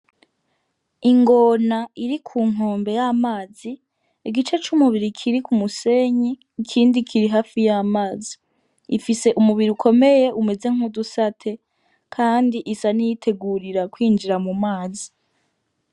Ingona iri kunkombe y'amazi igice c'umubiri kiri kumusenyi ikindi kiri hafi y'amazi ifise umubiri ukomeye umeze nk'udusate kandi isa niyitegurira kwinjira mumazi.